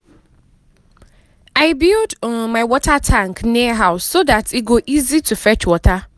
i build um my water tank near house so dat e go easy to fetch water.